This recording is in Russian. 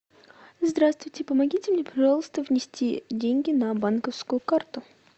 здравствуйте помогите мне пожалуйста внести деньги на банковскую карту